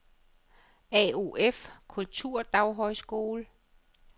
AOF Kulturdaghøjskole